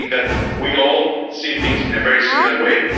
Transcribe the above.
I think that we all see things in a very similar way.